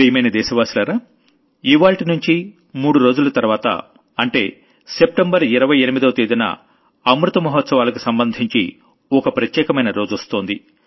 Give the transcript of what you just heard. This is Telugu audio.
ప్రియమైన దేశవాసులారా ఇవ్వాళ్టినుంచి మూడు రోజుల తర్వాత అంటే సెప్టెంబర్ 28వ తేదీన అమృత మహాత్సవాలకు సంబంధించి ఓ ప్రత్యేకమైన రోజొస్తోంది